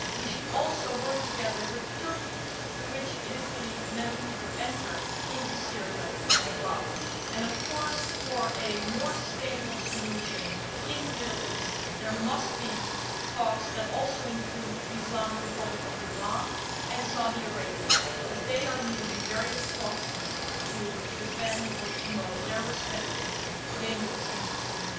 We should also work together with Turkey, through which it is believed many people enter Syria and Iraq, and of course, for a more sustainable solution in the Middle East, there must be talks which also include the Islamic Republic of Iran and Saudi Arabia as they are using various proxies to defend or promote their respective dangerous interests in